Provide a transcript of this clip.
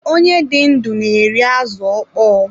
Onye dị ndụ na-eri azụ ọkpọ.